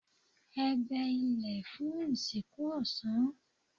Ẹ gbẹ ilẹ fun ìsìnkú ọ̀sán